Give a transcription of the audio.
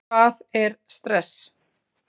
Hvað er stress?